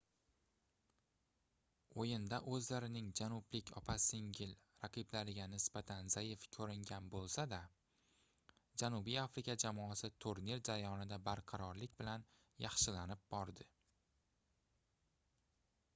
oʻyinda oʻzlarining janublik opa-singil raqiblariga nisbatan zaif koʻringan boʻlsa-da janubiy afrika jamoasi turnir jarayonida barqarorlik bilan yaxshilanib bordi